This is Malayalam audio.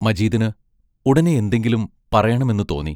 മജീദിന് ഉടനെ എന്തെങ്കിലും പറയണമെന്നു തോന്നി.